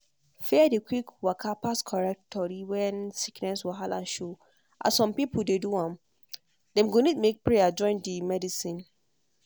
fear dey quick waka pass correct tori when sickness wahala show as some pipo dey do am. dem go need make prayer join di medicine.